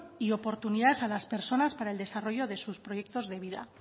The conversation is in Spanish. y oportunidades a las personas para el desarrollo de sus proyectos de vida